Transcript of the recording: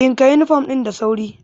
Ɗinka yunifom ɗin da sauri!